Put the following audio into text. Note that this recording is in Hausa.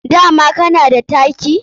Dama kana da taki?